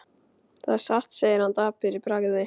Það er satt segir hann dapur í bragði.